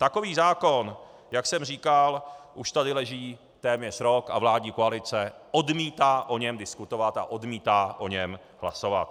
Takový zákon, jak jsem říkal, už tady leží téměř rok a vládní koalice odmítá o něm diskutovat a odmítá o něm hlasovat.